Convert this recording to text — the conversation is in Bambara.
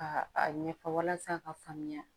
Ka a ɲɛfɔ walasa ka faamuya